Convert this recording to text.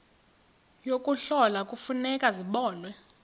yokuhlola kufuneka zibonwe